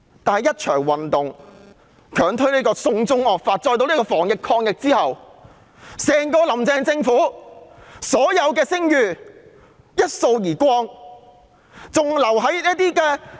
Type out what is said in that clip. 但一場反對強推"送中惡法"的運動，加上防疫抗疫的表現，整個"林鄭"政府的所有聲譽一掃而光。